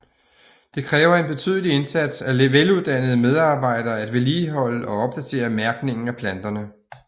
Det kræver en betydelig indsats af veluddannede medarbejdere at vedligeholde og opdatere mærkningen af planterne